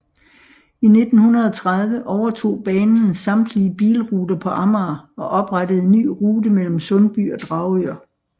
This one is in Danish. I 1930 overtog banen samtlige bilruter på Amager og oprettede en ny rute mellem Sundby og Dragør